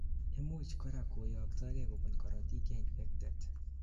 imuch korak koyoktokei kobun karotik cheinfected